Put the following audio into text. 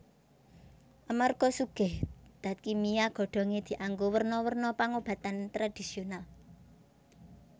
Amarga sugih dat kimia godhongé dianggo werna werna pangobatan tradhisional